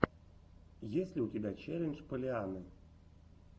есть ли у тебя челлендж поллианны